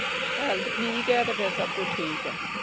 Health ਠੀਕ ਹੈ ਤੇ ਫੇਰ ਸਬ ਕੁਛ ਠੀਕ ਹੈ।